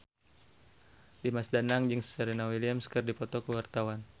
Dimas Danang jeung Serena Williams keur dipoto ku wartawan